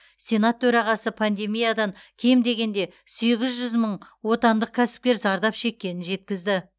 сенат төрағасы пандемиядан кем дегенде сегіз жүз мың отандық кәсіпкер зардап шеккенін жеткізді